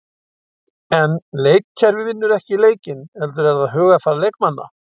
En leikkerfi vinnur ekki leikina heldur er það hugarfar leikmanna.